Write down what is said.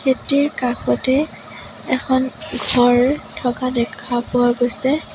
খেতিৰ কাষতে এখন ঘৰ থকা দেখা পোৱা গৈছে।